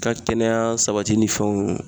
Ka kɛnɛya sabati ni fɛnw